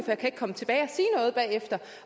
jeg kan ikke komme tilbage